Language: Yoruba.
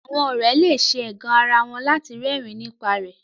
Àwọn òré le ṣe ẹgàn àrà wón lati rẹrin nípa rẹ